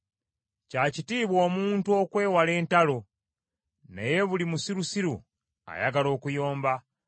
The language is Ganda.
Kya kitiibwa omuntu okwewala entalo, naye buli musirusiru ayagala okuyomba.